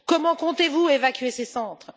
Comment comptez vous évacuer ces centres?